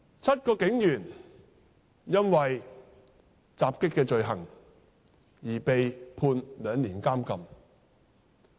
七名警員因襲擊罪而被判兩年監禁。